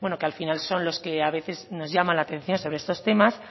que al final son los que a veces nos llaman la atención sobre estos temas